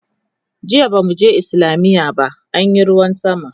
jiya bamu je islamiya ba anyi ruwan sama